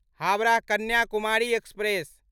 Howrah Kanyakumari express